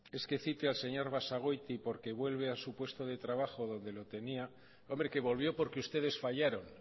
es que cite al señor basagoiti porque vuelve a su puesto de trabajo donde lo tenía hombre que volvió porque ustedes